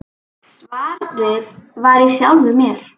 Svarið var í sjálfum mér.